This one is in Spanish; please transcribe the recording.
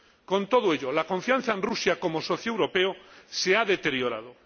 Con todo ello, la confianza en Rusia como socio europeo se ha deteriorado.